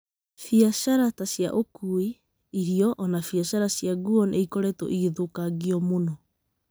Biacara ta cia ũkuui , irio, o na biacara cia nguo nĩ ikoretwo igĩthũkangio mũno.